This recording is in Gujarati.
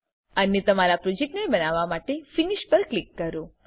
અને તમારા પ્રોજેક્ટને બનાવવા માટે ફિનિશ પર ક્લિક કરો